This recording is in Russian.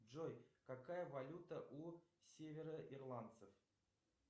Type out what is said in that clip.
джой какая валюта у североирландцев